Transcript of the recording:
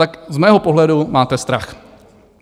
Tak z mého pohledu máte strach.